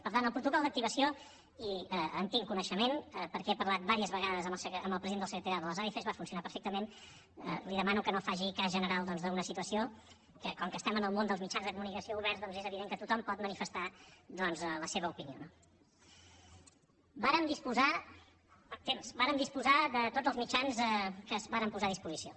per tant el protocol d’activació i en tinc coneixement perquè he parlat diverses vegades amb el president del secretariat de les adf va funcionar perfectament li demano que no faci cas general d’una situació que com que estem en el món dels mitjans de comunicació oberts doncs és evident que tothom pot manifestar la seva opinió no vàrem disposar de tots els mitjans que es varen posar a disposició